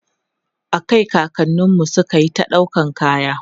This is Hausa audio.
a Kai kakanninmu sukayi ta ɗaukan kaya